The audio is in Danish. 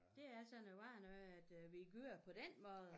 Det altså noget værre noget at øh vi gør det på dem måde